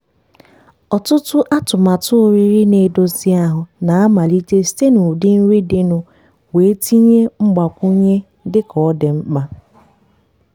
ọtụtụ atụmatụ oriri na-edozi ahụ na-amalite site n'ụdị nri dịnụ wee tinye mgbakwunye dị ka ọ dị mkpa.